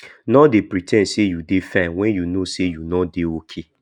nor dey pre ten d sey you dey fine wen you know sey you nor dey okay